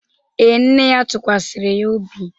Ee, nne ya tụkwasịrị ya obi